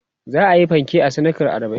za'ayi fanke a sadakan arbain